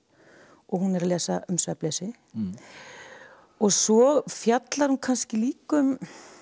og hún er að lesa um svefnleysi svo fjallar hún kannski líka um